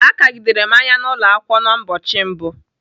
Akagidere m anya n'ụlọakwụkwọ n*ụbọchị mbụ.